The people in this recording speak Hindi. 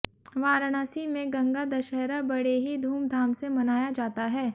वाराणसी में गंगा दशहरा बड़े ही धूम धाम से मनाया जाता है